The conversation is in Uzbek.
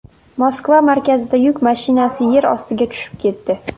Moskva markazida yuk mashinasi yer ostiga tushib ketdi.